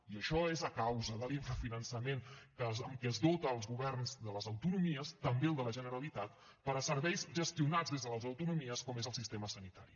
i això és a causa de l’infrafinançament amb què es dota els governs de les autonomies també el de la generalitat per a serveis gestionats des de les autonomies com és el sistema sanitari